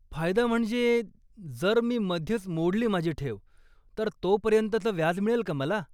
फायदा म्हणजे, जर मी मध्येच मोडली माझी ठेव, तर तोपर्यंतचं व्याज मिळेल का मला?